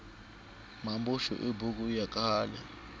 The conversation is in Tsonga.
mambuxu i buku ya khale